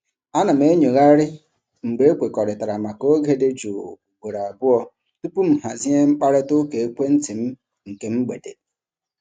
A na m enyoghari mgbe ekwekọrịtara maka oge dị jụụ ugboro abụọ tupu m hazie mkparịta ụka ekwenti m nke mgbede.